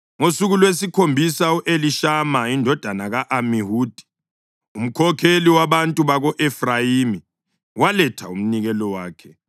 Ngosuku lwesikhombisa u-Elishama indodana ka-Amihudi, umkhokheli wabantu baka-Efrayimi, waletha umnikelo wakhe.